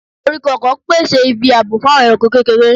Koriko ọkọ, pèsè ibi ààbò fún àwọn ẹranko kékeré